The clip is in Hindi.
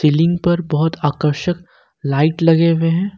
सीलिंग पर बहोत आकर्षक लाइट लगे हुए हैं।